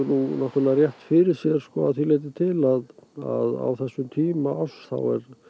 rétt fyrir sér að því leytinu til að á þessum tíma árs þá